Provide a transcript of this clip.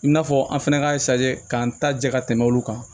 I n'a fɔ an fɛnɛ k'a k'an ta jɛ ka tɛmɛ olu kan